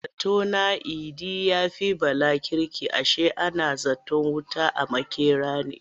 A zato na Idi ya fi Bala kirki ashe ana zaton wuta a makera ne.